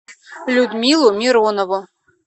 людмилу миронову